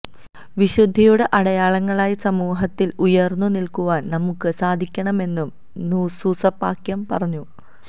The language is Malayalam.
വിശുദ്ധിയുടെ അടയാളങ്ങളായി സമൂഹത്തില് ഉയര്ന്നു നില്ക്കുവാന് നമുക്ക് സാധിക്കണമെന്നും സൂസപാക്യം പറഞ്ഞു